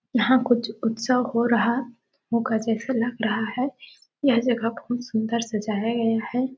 यहाँ कुछ उत्सव हो रहा होगा जैसे लग रहा है यह जगह बहुत सुंदर सजाया गया है।